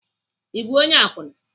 I bụ onye akwụna?